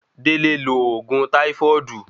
Dele lo oògùn táífọ́ọ̀dù